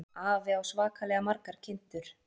Afi á svakalega margar kindur.